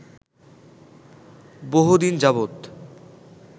বহুদিন যাবত